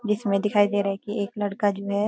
जिसमें दिखाई दे रहा है कि एक लड़का जो है --